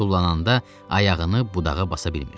Tullanda ayağını budağa basa bilmirdi.